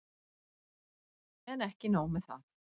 En ekki nóg með það!